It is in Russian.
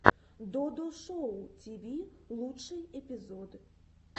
додо шоу тиви лучший эпизод